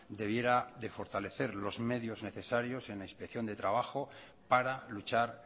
debiera de fortalecer los medios necesarios en inspección de trabajo para luchar